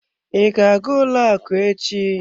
I ga-aga ụlọ akụ echi?